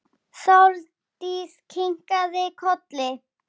Andlit hans ljómar af óvissu.